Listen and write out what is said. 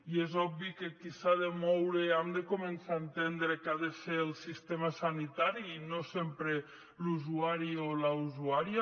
i és obvi que qui s’ha de moure hem de començar a entendre que ha de ser el sistema sanitari i no sempre l’usuari o la usuària